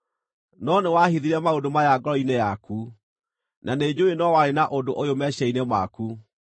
“No nĩwahithire maũndũ maya ngoro-inĩ yaku, na nĩnjũũĩ no warĩ na ũndũ ũyũ meciiria-inĩ maku: